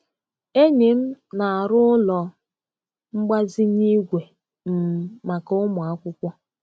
Enyi m na-arụ ụlọ mgbazinye igwe um maka ụmụ akwụkwọ.